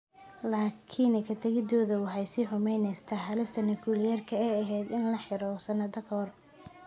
Laakiin ka tagistooda waxay sii xumaynaysaa halista Nukliyeerka ee ay ahayd in la xalliyo sannado ka hor.